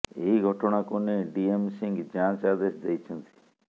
ଏହି ଘଟଣାକୁ ନେଇ ଡିଏମ ସିଂହ ଯାଞ୍ଚ ଆଦେଶ ଦେଇଛନ୍ତି